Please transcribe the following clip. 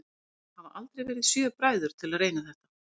Og það hafa aldrei verið sjö bræður til að reyna þetta?